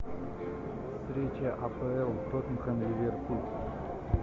встреча апл тоттенхэм ливерпуль